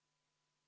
Head kolleegid!